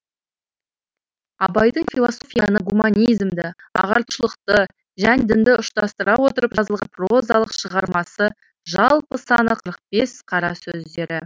абайдың философияны гуманизмді ағартушылықты және дінді ұштастыра отырып жазылған прозалық шығармасы жалпы саны қырық бес қара сөздері